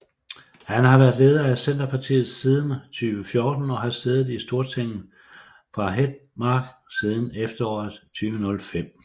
Han har været leder af Senterpartiet siden foråret 2014 og har siddet i Stortinget fra Hedmark siden efteråret 2005